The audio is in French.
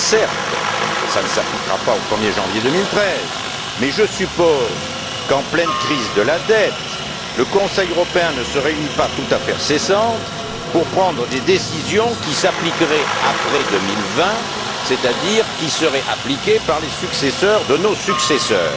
Certes, cela ne s'appliquera pas au 1er janvier 2013, mais je suppose qu'en pleine crise de la dette, le Conseil européen ne se réunit pas toutes affaires cessantes pour prendre des décisions qui s'appliqueraient après 2020, c'est à dire qui seraient appliquées par les successeurs de nos successeurs.